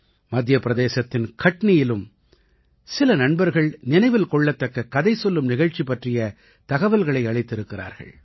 மத்திய பிரதேசத்தின் கட்னியிலும் சில நண்பர்கள் நினைவில் கொள்ளத்தக்க கதை சொல்லும் நிகழ்ச்சி பற்றிய தகவல்களை அளித்திருக்கிறார்கள்